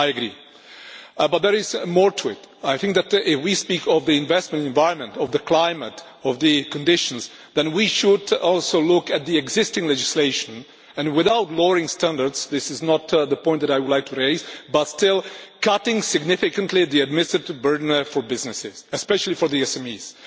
I agree, but there is more to it. I think that if we speak of the investment environment, of the climate, of the conditions, then we should also look at the existing legislation, without lowering standards this is not the point that I would like to raise but still cutting significantly the administrative burden for businesses, especially for SMEs.